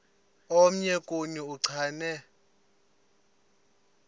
omnye kuni uchane